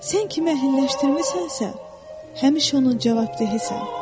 Sən kimi əhliləşdirmisənsə, həmişə onun cavabdehisan.